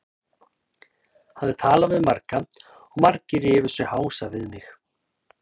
Hafði talað við marga og margir rifu sig hása við mig.